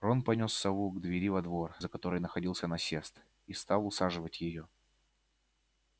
рон понёс сову к двери во двор за которой находился насест и стал усаживать её